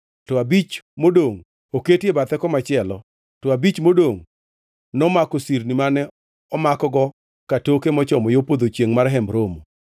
to abich modongʼ oketi e bathe komachielo, to abich modongʼ nomako sirni mane omakgo katoke mochomo yo podho chiengʼ mar Hemb Romo.